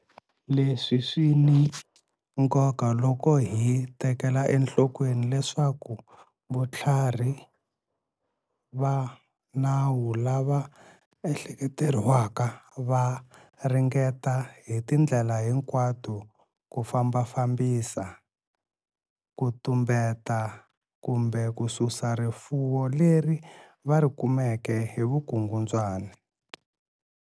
Leswi swi ni nkoka loko hi tekela enhlokweni leswaku vutlharhi va nawu lava ehleketeriwaka va ringeta hi tindlela hinkwato ku fambafambisa, ku tumbeta kumbe ku susa rifuwo leri va ri kumeke hi vukungundzwana.